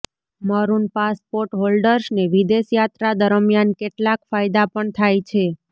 maroon passport હોલ્ડર્સને વિદેશ યાત્રા દરમિયાન કેટલાક ફાયદા પણ થાય છે